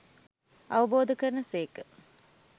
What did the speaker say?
අවබෝධ කරන සේක.